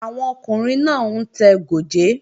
Àwọn ọkùnrin náà ń tẹ gòjé